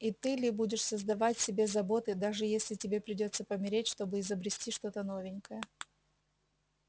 и ты ли будешь создавать себе заботы даже если тебе придётся помереть чтобы изобрести что-то новенькое